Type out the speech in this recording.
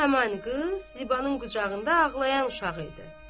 Həman qız Zibanın qucağında ağlayan uşağı idi.